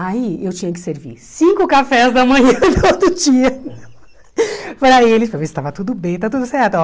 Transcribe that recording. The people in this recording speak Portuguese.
Aí eu tinha que servir cinco cafés da manhã todo dia para eles para ver se estava tudo bem, está tudo certo.